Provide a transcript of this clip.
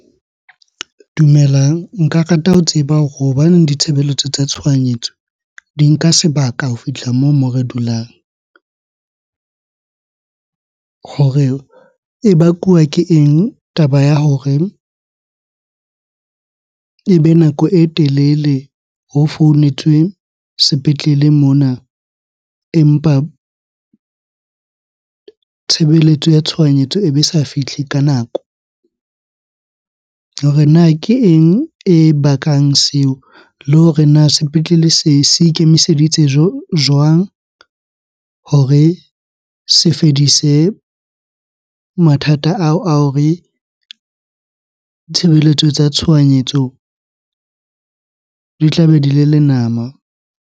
Dumelang. Nka rata ho tseba hore hobaneng ditshebeletso tsa tshohanyetso di nka sebaka ho fihla moo mo re dulang. Hore e bakuwa ke eng taba ya hore ebe nako e telele ho founetswe sepetlele mona, empa tshebeletso ya tshohanyetso ebe sa fihle ka nako? Hore na ke eng e bakang seo? Le hore na sepetlele se ikemiseditse jwang hore se fedise mathata ao a hore tshebeletso tsa tshohanyetso di tlabe di le lenama?